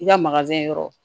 I ka yɔrɔ